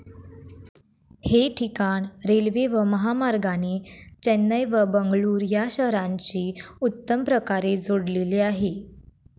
हे ठिकाण रेल्वे व महामार्गाने चेन्नई व बंगळूर या शहरांशी उत्तम प्रकारे जोडलेले आहे.